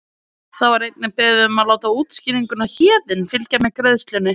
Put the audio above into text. Þá er einnig beðið um að láta útskýringuna Héðinn fylgja með greiðslunni.